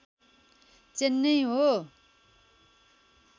चेन्नई हो